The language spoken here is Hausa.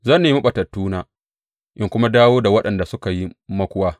Zan nemi ɓatattuna in kuma dawo da waɗanda suka yi makuwa.